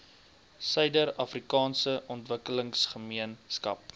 suider afrikaanse ontwikkelingsgemeenskap